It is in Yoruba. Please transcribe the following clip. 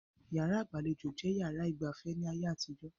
Yàrá ìgbàlejò jẹ́ yàrá ìgba afẹ́ ní ayé àtijó